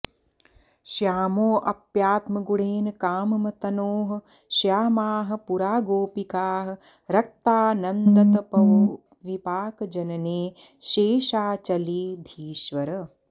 श्यामोऽप्यात्मगुणेन काममतनोः श्यामाः पुरा गोपिकाः रक्ता नन्दतपोविपाकजनने शेषाचलाधीश्वर